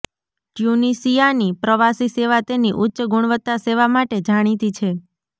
ટ્યુનિશિયાની પ્રવાસી સેવા તેની ઉચ્ચ ગુણવત્તા સેવા માટે જાણીતી છે